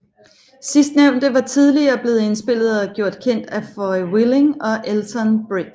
Sidstnævnte var tidligere blevet indspillet og gjort kendt af Foy Willing og Elton Britt